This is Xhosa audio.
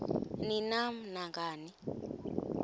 ni nam nangani